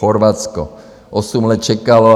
Chorvatsko osm let čekalo.